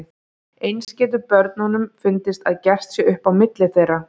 Eins getur börnunum fundist að gert sé upp á milli þeirra.